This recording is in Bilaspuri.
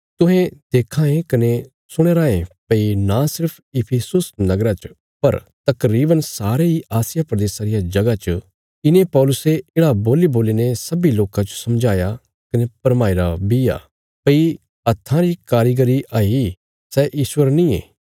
तुहें देखां ये कने सुणया रायें भई नां सिर्फ इफिसुस नगरा च पर तकरीवन सारे इ आसिया प्रदेशा रिया जगह च इने पौलुसे येढ़ा बोल्लीबोलीने सब्बीं लोकां जो समझाया कने भरमाईरा बी आ भई हत्थां री कारीगरी हई सै ईश्वर नींये